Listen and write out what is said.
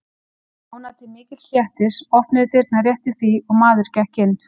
Stjána til mikils léttis opnuðust dyrnar rétt í því og maður gekk inn.